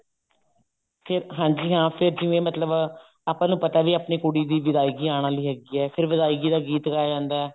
ਕੇ ਹਾਂਜੀ ਹਾਂ ਫੇਰ ਜਿਵੇਂ ਮਤਲਬ ਆਪਾਂ ਨੂੰ ਪਤਾ ਵੀ ਆਪਣੀ ਕੁੜੀ ਦੀ ਵਿਦਾਈ ਆਉਣ ਵਾਲੀ ਹੈਗੀ ਹੈ ਫਿਰ ਵਿਦਾਈ ਦਾ ਗੀਤ ਗਾਇਆ ਜਾਂਦਾ